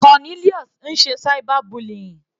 Cornelius ń ṣe cyber bullying.